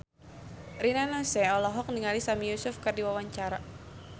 Rina Nose olohok ningali Sami Yusuf keur diwawancara